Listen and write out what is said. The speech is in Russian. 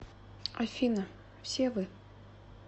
афина все вы